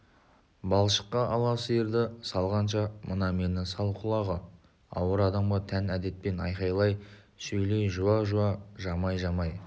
балшыққа ала сиырды салғанша мына мені сал құлағы ауыр адамға тән әдетпен айқайлай сөйлеп жуа-жуа жамай-жамай